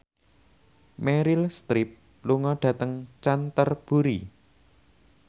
Meryl Streep lunga dhateng Canterbury